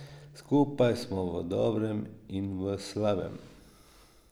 Skupaj smo v dobrem in v slabem.